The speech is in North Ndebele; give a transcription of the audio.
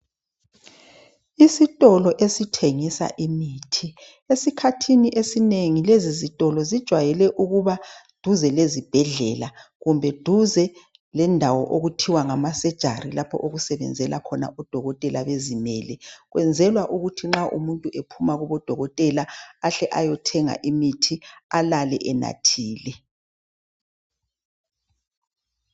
Isitolo esithengisa imithi. Esikhathini esinengi lezi zitolo zijwayele ukuba duze lezibhedlela kumbe duze lendawo okuthiwa ngamasejari lapho okusebenzela khona odokotela bezimele. Kwenzelwa ukuthi nxa umuntu ephuma kubodokotela ahle ayothenga imithi, alale enathile.